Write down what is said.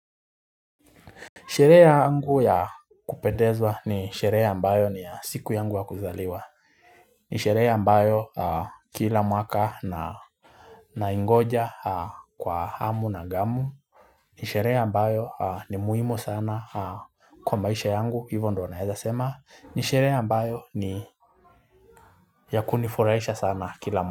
Sherehe yangu ya kupendeza ni sherehe ambayo ni ya siku yangu ya kuzaliwa. Ni sherehe ambayo kila mwaka naingoja kwa hamu na ghamu. Ni sherehe ambayo ni muhimu sana kwa maisha yangu, hivyo ndio nawezasema. Ni sherehe ambayo ni ya kunifurahisha sana kila mwaka.